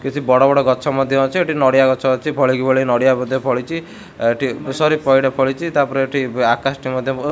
କିଛି ବଡ ବଡ଼ ଗଛ ମଧ୍ୟ ଅଛି ଏଠି ନଡ଼ିଆ ଗଛ ଅଛି ଭଳି କି ଭଳି ନଡ଼ିଆ ବୋଧେ ଫଳିଚି ଏଠି ସରି ପଇଡ ଫଳିଚି ତା ପରେ ଏଠି ଆକାଶ ଟି ମଧ୍ୟ --